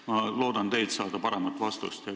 Ma loodan teilt saada paremat vastust.